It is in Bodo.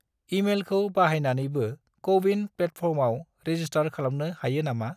इमेलखौ बाहायनानैबो क'-विन प्लेटफर्मआव रेजिस्टार खालामनो हायो नामा?